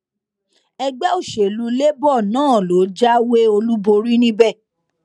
ẹgbẹ òsèlú labour náà ló jáwé olúborí níbẹ